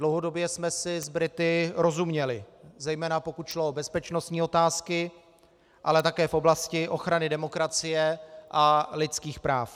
Dlouhodobě jsme si s Brity rozuměli, zejména pokud šlo o bezpečnostní otázky, ale také v oblasti ochrany demokracie a lidských práv.